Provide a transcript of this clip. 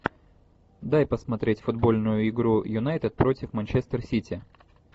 дай посмотреть футбольную игру юнайтед против манчестер сити